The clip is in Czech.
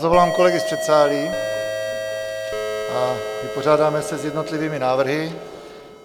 Zavolám kolegy z předsálí a vypořádáme se s jednotlivými návrhy.